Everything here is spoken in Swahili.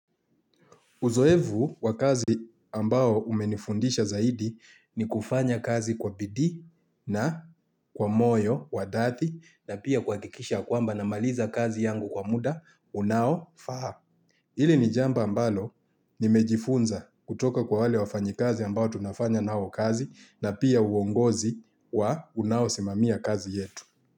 Uzoevu wa kazi ambao umenifundisha zaidi ni kufanya kazi kwa bidii na kwa moyo wa dhati na pia kuakikisha kwamba namaliza kazi yangu kwa muda unao faa. Hili ni jambo ambalo nimejifunza kutoka kwa wale wafanyi kazi ambao tunafanya nao kazi na pia uongozi wa unao simamia kazi yetu.